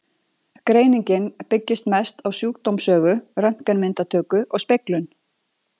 Greiningin byggist mest á sjúkdómssögu, röntgenmyndatöku og speglun.